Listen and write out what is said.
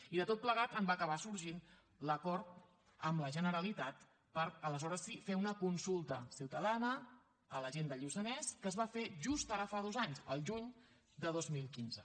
i de tot plegat en va acabar sorgint l’acord amb la generalitat per aleshores sí fer una consulta ciutadana a la gent del lluçanès que es va fer just ara fa dos anys al juny de dos mil quinze